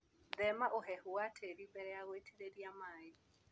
Thima ũhehu wa tĩri mbere ya gũitĩrĩria maĩ.